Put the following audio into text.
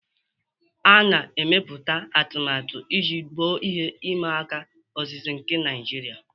A na-emepụta atụmatụ iji gboo ihe ịma aka ozize nke Naijiria.